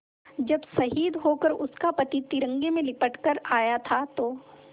जब शहीद होकर उसका पति तिरंगे में लिपट कर आया था तो